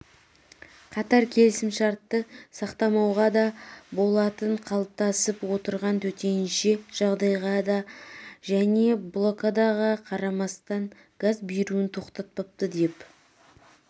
қатар келісімшартты сақтамауға да блдатын қалыптасып отырған төтенше жағдайға және блокадаға қарамастан газ беруін тоқтатпады деп